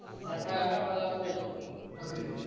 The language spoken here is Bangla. হ্যাঁ ভাই আমিও ভালো আছি